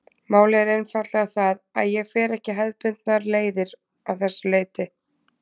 Málið er einfaldlega það að ég fer ekki hefðbundnar leiðir að þessu leyti.